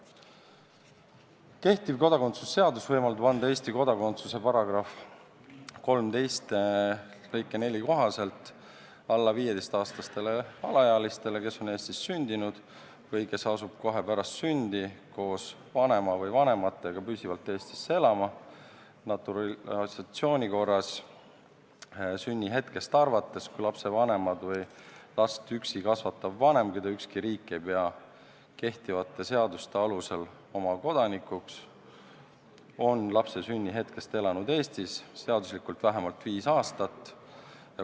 Kehtiv kodakondsuse seadus võimaldab anda Eesti kodakondsuse § 13 lõike 4 kohaselt alla 15-aastastele alaealistele, kes on sündinud või kes asuvad kohe pärast sündi koos vanema või vanematega püsivalt Eestisse elama, naturalisatsiooni korras, sünni hetkest arvates, kui lapse vanemad või last üksi kasvatav vanem, keda ükski riik ei pea kehtivate seaduste alusel oma kodanikuks, on lapse sünni hetkeks elanud Eestis seaduslikult vähemalt viis aastat.